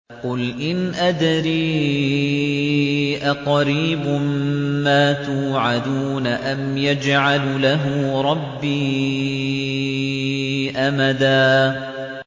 قُلْ إِنْ أَدْرِي أَقَرِيبٌ مَّا تُوعَدُونَ أَمْ يَجْعَلُ لَهُ رَبِّي أَمَدًا